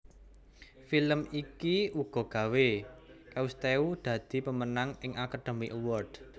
Film iki uga gawé Cousteau dadi pemenang ing Academy Award